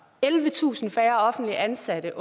ellevetusind færre offentligt ansatte